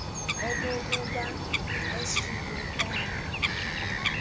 okokubai sgb iqale